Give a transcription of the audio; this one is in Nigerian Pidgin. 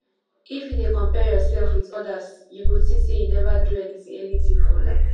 if you dey compare yourself with odas you go think sey you neva do anything anything for life